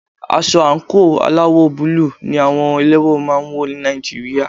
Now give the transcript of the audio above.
Aṣọ àńkò aláwọ̀ búlù ní àwọn ẹlẹ́wọ̀n máà ń wọ́ ní Nàìjíríà.